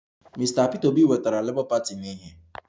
Mr Peter obi wetara labour party na ìhè